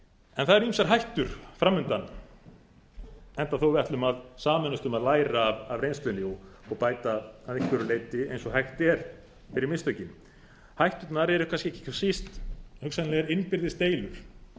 en það eru ýmsar hættur fram undan enda þó að við ætlum að sameinast um að læra af reynslunni og bæta að einhverju leyti eins og hægt er fyrir mistökin hætturnar eru kannski ekki hvað síst hugsanlegar innbyrðis deilur því